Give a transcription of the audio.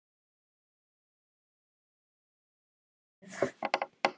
Jæja, sagði ég.